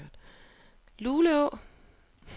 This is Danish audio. Luleå